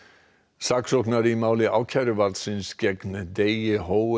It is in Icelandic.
saksóknari í máli ákæruvaldsins gegn Degi